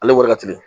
Ale wari ka teli